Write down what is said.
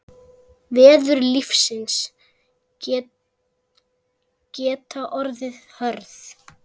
Veður lífsins geta orðið hörð.